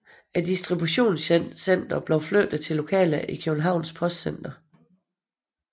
Distributionscentret blev flyttet til lokaler i Københavns Postcenter